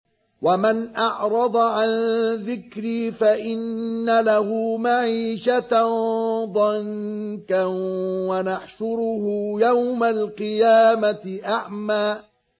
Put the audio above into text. وَمَنْ أَعْرَضَ عَن ذِكْرِي فَإِنَّ لَهُ مَعِيشَةً ضَنكًا وَنَحْشُرُهُ يَوْمَ الْقِيَامَةِ أَعْمَىٰ